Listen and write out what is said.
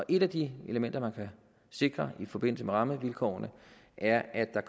et af de elementer man kan sikre i forbindelse med rammevilkårene er at der